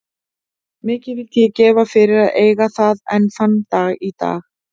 Mikið vildi ég gefa fyrir að eiga það enn þann dag í dag.